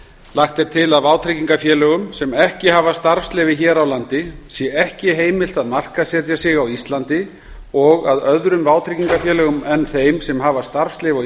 lagt er til að vátryggingafélögum sem ekki hafa starfsleyfi hér á landi sé ekki heimilt að markaðssetja sig á íslandi og að öðrum vátryggingafélögum en þeim sem hafa starfsleyfi á